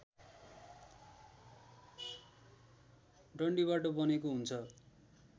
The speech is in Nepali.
डन्डीबाट बनेको हुन्छ